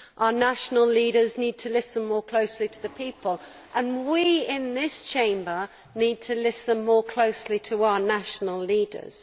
Our national leaders need to listen more closely to the people, and we in this Chamber need to listen more closely to our national leaders.